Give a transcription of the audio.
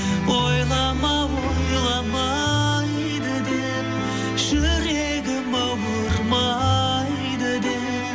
ойлама ойламайды деп жүрегім ауырмайды деп